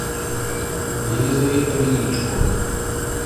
елизавета величко